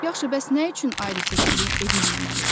Yaxşı, bəs nə üçün ayrı-seçkilik edilməməlidir?